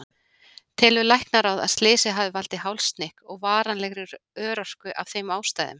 Telur Læknaráð að slysið hafi valdið hálshnykk og varanlegri örorku af þeim ástæðum?